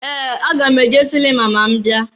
Ee! Aga m eje silima ma m bia.